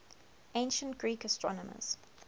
ancient greek astronomers